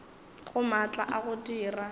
ga maatla a go dira